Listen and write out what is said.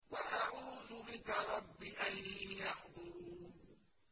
وَأَعُوذُ بِكَ رَبِّ أَن يَحْضُرُونِ